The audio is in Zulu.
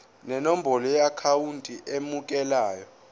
nenombolo yeakhawunti emukelayo